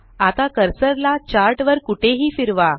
आता कर्सर ला चार्ट वर कुठेही फिरवा